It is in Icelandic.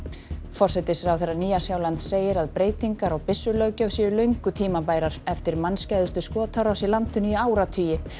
forsætisráðherra Nýja Sjálands segir að breytingar á séu löngu tímabærar eftir skotárás í landinu í áratugi